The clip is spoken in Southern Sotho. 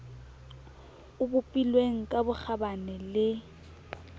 o bopilweng ka bokgabane le